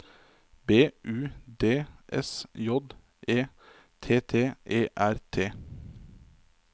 B U D S J E T T E R T